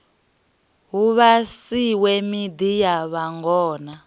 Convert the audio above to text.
hu vhasiwe miḓi ya vhangona